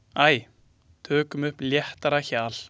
Æ, tökum upp léttara hjal.